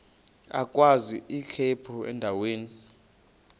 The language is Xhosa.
agwaz ikhephu endaweni